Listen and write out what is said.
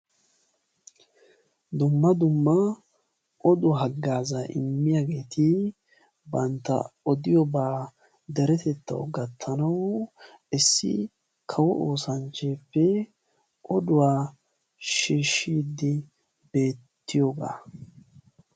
dumma dumma oduwaa haggaaza immiyaageeti bantta odiyobaa deretettaw gattanaw issi kawo oosanchcheeppe oduwaa sheeshshiiddi beettiyoogaa